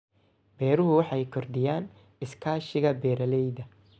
Beeruhu waxay kordhiyaan iskaashiga beeralayda.